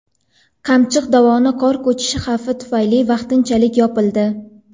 Qamchiq dovoni qor ko‘chishi xavfi tufayli vaqtinchalik yopildi.